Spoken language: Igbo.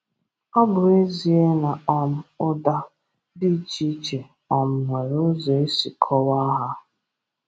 Ọ bụ ezíe na um ụ́da dị iche iche um nwere ụzọ e si kọ́waa ha.